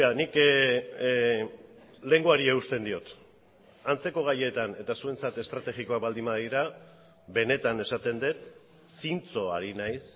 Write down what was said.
nik lehengoari eusten diot antzeko gaietan eta zuentzat estrategikoak baldin badira benetan esaten dut zintzo ari naiz